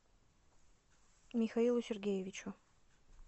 михаилу сергеевичу